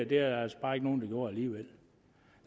der altså bare ikke nogen der gjorde alligevel